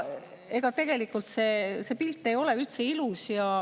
Ega tegelikult see pilt ei ole üldse ilus.